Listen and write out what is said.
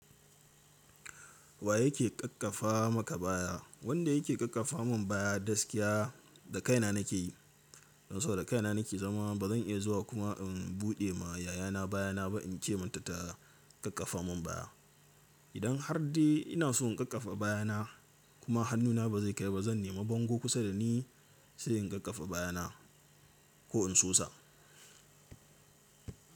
Wa yake ƙakkafa maka baya? Wanda yake ƙakkafa mun baya gaskiya da kaina nake yi. Don sau da kaina nake zama ba zan iya zuwa kuma in buɗe ma yayana bayana ba in ce mata ta ƙakkafa mun baya. Idan har dai ina so in ƙakkafa bayana kuma hannuna ba zai kai ba zan nemi bango kusa da ni sai in ƙakkafa bayana ko in sosa.